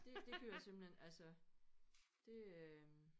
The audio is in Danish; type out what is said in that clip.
Det det gør jeg simpelthen altså det øh